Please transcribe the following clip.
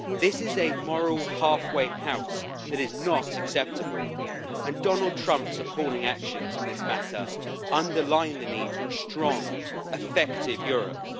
This is a moral halfway house that is not acceptable and Donald Trump supporting actions in this matter underlines the need for a strong, effective Europe.